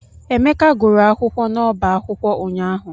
Emeka gụrụ akwụkwọ n'ọbá akwụkwọ ụnyaahụ.